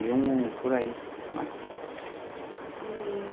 e um por aí, né? E...